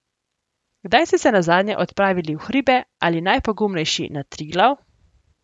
Kdaj ste se nazadnje odpravili v hribe ali najpogumnejši na Triglav?